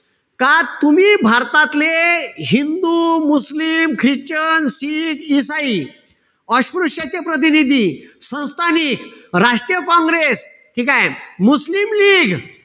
का तुम्ही भारतातले हिंदू, , मुस्लिम, ख्रिश्चन, शीख, इसाई, अस्पृश्याचे प्रतिनिधी, संस्थानिक, राष्ट्रीय काँग्रेस, ठीकेय? मुस्लिम लीग,